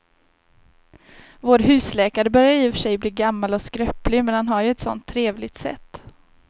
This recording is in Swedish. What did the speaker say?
Vår husläkare börjar i och för sig bli gammal och skröplig, men han har ju ett sådant trevligt sätt!